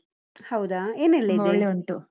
ಹೌದಾ ಏನೆಲ್ಲ .